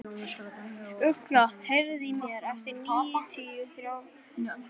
Ugla, heyrðu í mér eftir níutíu og þrjár mínútur.